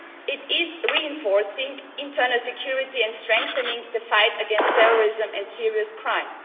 it is reinforcing internal security and strengthening the fight against terrorism and serious crime.